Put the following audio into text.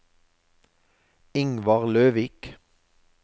Ingvar Løvik